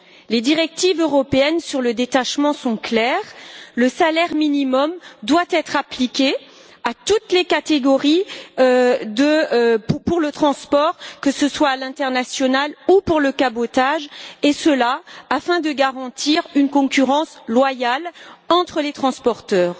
Les directives européennes sur le détachement sont claires le salaire minimum doit être appliqué à toutes les catégories pour le transport, que ce soit à l'international ou pour le cabotage et ce, afin de garantir une concurrence loyale entre les transporteurs.